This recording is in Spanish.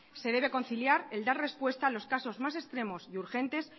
se debe conciliar el dar respuesta a los casos más extremos y urgentes